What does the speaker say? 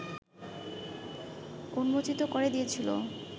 উন্মোচিত করে দিয়েছিল ও